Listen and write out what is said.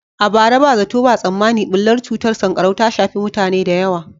A bara, ba zato ba tsammani bullar cutar sankarau ta shafi mutane da yawa.